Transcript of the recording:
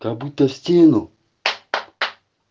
как будто стену